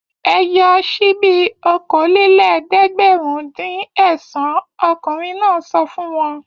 Ẹ yọ ṣíbí okòólélẹ́ẹ̀dẹ́gbẹ̀rúndínẹ̀sán! Ọkùnrin náà sọ fún wọn.